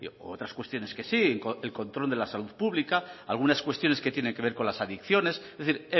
u otras cuestiones que sí el control de la salud pública algunas cuestiones que tienen que ver con las adiciones es decir